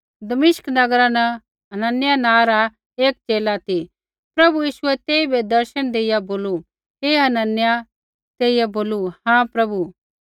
दमिश्क नगरा न हनन्याह नाँ रा एक च़ेला ती प्रभु यीशुऐ तेइबै दर्शन देइआ बोलू हे हनन्याह तेइयै बोलू हाँ प्रभु